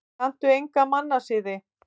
Kanntu enga mannasiði?